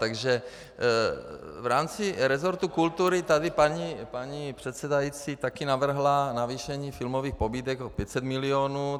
Takže v rámci resortu kultury tady paní předsedající taky navrhla navýšení filmových pobídek o 500 milionů.